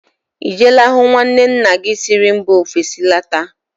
Ị jeela hụ nwanne nna gị nwaanyị siri mba ofesi lọta?